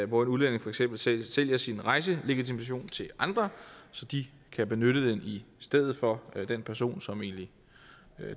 hvor en udlænding for eksempel sælger sin rejselegitimation til andre så de kan benytte den i stedet for den person som